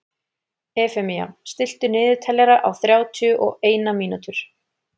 Efemía, stilltu niðurteljara á þrjátíu og eina mínútur.